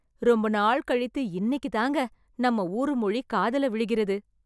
ரொம்ப நாள் கழித்து இன்னைக்குதாங்க நம்ம ஊரு மொழி காதுல விழுகிறது..